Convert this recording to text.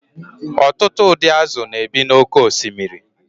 ọtụtụ ụdị azụ̀ na-ebi n’oké osimiri